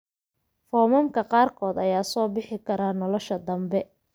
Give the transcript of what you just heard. Foomamka qaarkood ayaa soo bixi kara nolosha dambe.